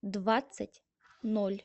двадцать ноль